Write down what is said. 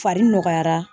Fari nɔgɔyara